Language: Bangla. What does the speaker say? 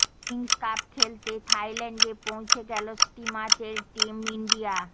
কিংস কাপ খেলতে থাইল্যান্ডে পৌঁছে গেল স্টিমাচের টিম ইন্ডিয়া